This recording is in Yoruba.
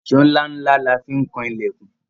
Èṣó ńlá ńlá la fi kan ilẹ̀kùn